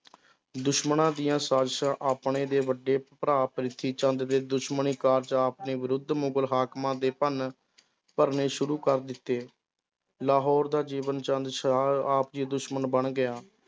ਦੁਸ਼ਮਣਾਂ ਦੀਆਂ ਸਾਜਿਸ਼ਾਂ ਆਪਣੇ ਦੇ ਵੱਡੇ ਭਰਾ ਪ੍ਰਿਥੀ ਚੰਦ ਦੇ ਦੁਸ਼ਮਣੀ ਕਾਰਜ ਆਪ ਨੇ ਵਿਰੱਧ ਮੁਗਲ ਹਾਕਮਾਂ ਦੇ ਭੰਨ ਭਰਨੇ ਸ਼ੁਰੂ ਕਰ ਦਿੱਤੇ, ਲਾਹੌਰ ਦਾ ਜੀਵਨ ਆਪ ਜੀ ਦੁਸ਼ਮਣ ਬਣ ਗਿਆ,